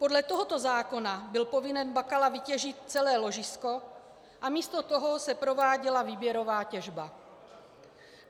Podle tohoto zákona byl povinen Bakala vytěžit celé ložisko, a místo toho se prováděla výběrová těžba.